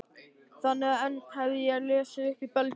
Þannig að enn hef ég ekki lesið upp í Belgíu.